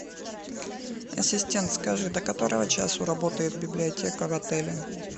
ассистент скажи до которого часу работает библиотека в отеле